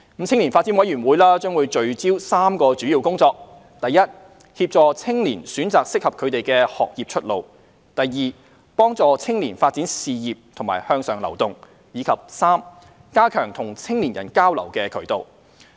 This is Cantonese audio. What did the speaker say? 青年發展委員會將聚焦3項主要工作：第一，協助青年選擇適合他們的學業出路；第二，幫助青年發展事業和向上流動；以及第三，加強與青年人交流的渠道。